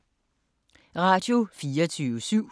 Radio24syv